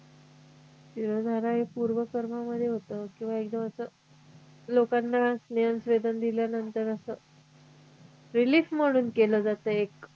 शिरोधारा हे पूर्वकर्म मध्ये होतं किंवा एकदम अस लोकांना स्नेहस्वेदन दिल्यानंतर असं relief म्हणून केलं जातं एक